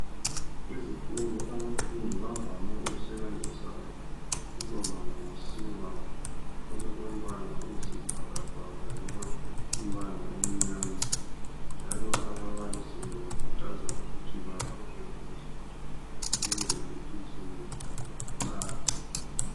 Ezikolo abafundi bavame ukusebenzisa ukuloba ngosiba olulombala oyisibhakabhaka loba umbala omnyama. Njalo ababalisi bakhuthaza ukuthi balobe kuhle ukwenzela ukuthi umsebenzi wabo ucace.